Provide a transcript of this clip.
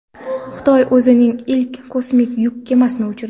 Xitoy o‘zining ilk kosmik yuk kemasini uchirdi.